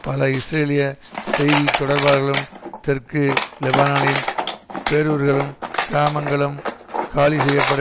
பல இஸ்ரேலிய செய்தி தொடர்பாளர்களும் தெற்கு லெபனானில் பேரூர்களும் கிராமங்களும் காலி செய்ய பட